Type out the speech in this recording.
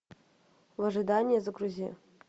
в ожидании загрузи